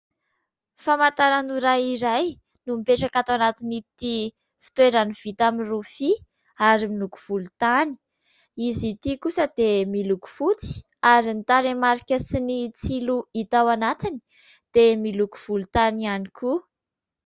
Famantaran'ora iray no mipetraka ato anatin'ity fitoerany vita amin'ny rofia ary miloko volontany, izy ity kosa dia miloko fotsy ary ny tarehimarika sy ny tsilo hita ao anatiny dia miloko volontany ihany koa.